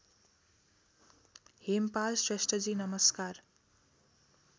हेमपाल श्रेष्ठजी नमस्कार